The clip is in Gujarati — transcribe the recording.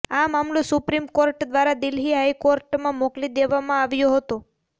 આ મામલો સુપ્રિમ કોર્ટ દ્વારા દિલ્હી હાઈકોર્ટમાં મોકલી દેવામાં આવ્યો હતો